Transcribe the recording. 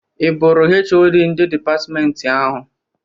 I bụrụ HoD ndị dịpatmentị ahụ?